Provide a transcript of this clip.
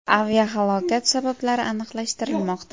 Aviahalokat sabablari aniqlashtirilmoqda.